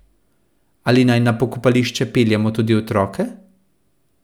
Ali naj na pokopališče peljemo tudi otroke?